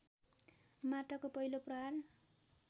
माटाको पहिलो प्रहार